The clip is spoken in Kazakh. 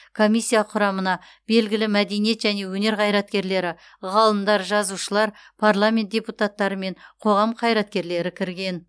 комиссия құрамына белгілі мәдениет және өнер қайраткерлері ғалымдар жазушылар парламент депутаттары мен қоғам қайраткерлері кірген